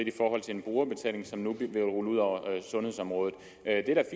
i forhold til en brugerbetaling som nu bliver rullet ud over sundhedsområdet det er